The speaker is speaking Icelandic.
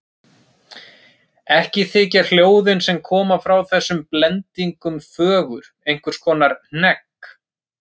Ekki þykja hljóðin sem koma frá þessum blendingum fögur, einhvers konar hnegg.